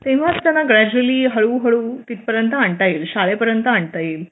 तेव्हाच त्यांना ग्रॅज्युअली हळूहळू तिथपर्यंत आणता येईल शाळेपर्यंत आणता येईल